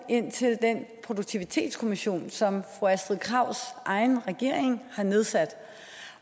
ind til produktivitetskommissionen som fru astrid krags egen regering nedsatte